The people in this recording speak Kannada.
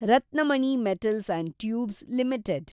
Ratnamani metals and tubes limited